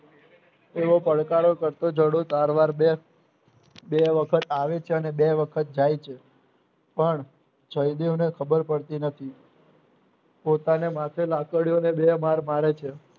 એવો પડકારો કરતો જોડું ચારવાર બેસ બે વખત આવે છે અને બે વખત જાય છે પણ જયદેવને ખબર પડતી નથી પોતાને માથે લાકડીઓને બે માર મારે છે